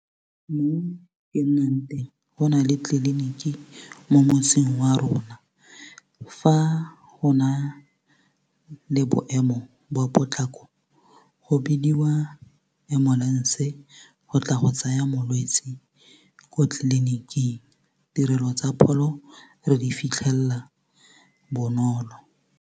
Mo e nnang teng go nale tleliniki mo motseng wa rona fa go na le boemo jwa potlako go bidiwa ambulance-e go tla go tsaya molwetsi kwa tliliniking tirelo tsa pholo re di fitlhela bonolo.